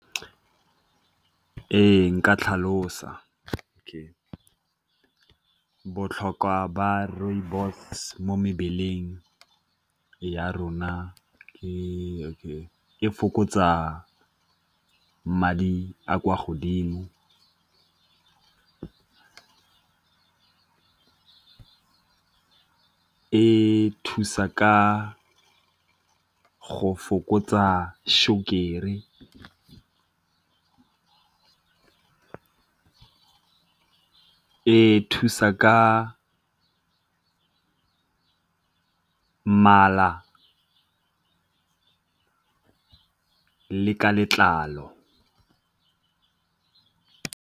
Ee, nka tlhalosa botlhokwa ba rooibos mo mebeleng ya rona e fokotsa madi a kwa godimo, e thusa ka go fokotsa sukiri, e thusa ka mala le ka letlalo.